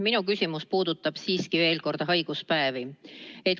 Minu küsimus puudutab siiski veel kord haiguspäevi.